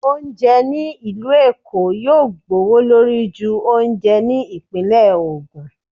oúnjẹ ni ilú Èko yóò gbówólorí ju oúnjẹ tí ipinle ogun